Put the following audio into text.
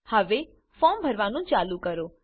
હવે ફોર્મ ભરવાનું ચાલુ કરો